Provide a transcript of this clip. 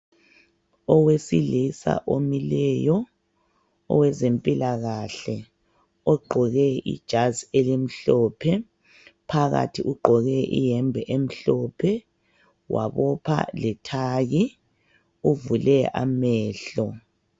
Owesilisa omileyo owezempilakahle ogqoke ijazi elimhlophe phakathi ugqoke iyembe emhlophe wabopha lethayi uvule amehlo